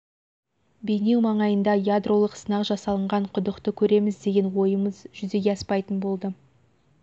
бейнеу маңайындағы ядролық сынақ жасалынған құдықты көреміз деген ойымыз жүзеге аспайтын болды